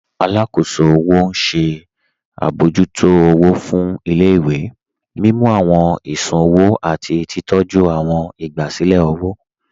Àlàkóṣò ọwọ ṣẹ̀ abọ̀jútó ọwọ̀ fún ilẹ̀-ìwé, mímú awọn ìṣùn-ọwò àti titọ̀jú awọn ìgbàsílẹ̀ ọwọ.